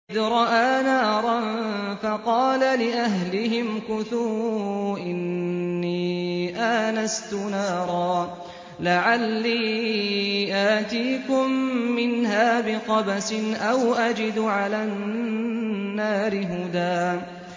إِذْ رَأَىٰ نَارًا فَقَالَ لِأَهْلِهِ امْكُثُوا إِنِّي آنَسْتُ نَارًا لَّعَلِّي آتِيكُم مِّنْهَا بِقَبَسٍ أَوْ أَجِدُ عَلَى النَّارِ هُدًى